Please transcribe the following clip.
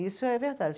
Isso é verdade.